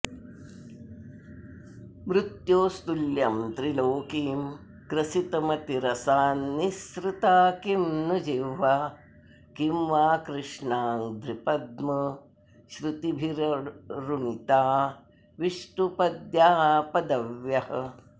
मृत्योस्तुल्यं त्रिलोकीं ग्रसितुमतिरसान्निस्सृता किं नु जिह्वा किं वा कृष्णाङ्घ्रिपद्मसृतिभिररुणिता विष्णुपद्याः पदव्यः